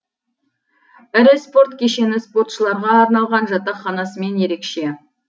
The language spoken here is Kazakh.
ірі спорт кешені спортшыларға арналған жатақханасымен ерекше